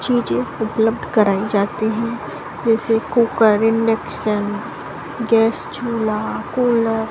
चींज़े उपलब्ध कराई जाते है जैसे कुकर इंडेक्शन गैस चूल्हा कूलर ।